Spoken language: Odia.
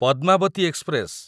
ପଦ୍ମାବତୀ ଏକ୍ସପ୍ରେସ